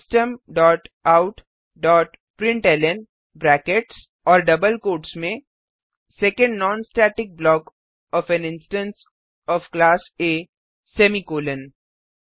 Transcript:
system dot out dot println brackets और double quotes में second non static block of an instance of class A semicolon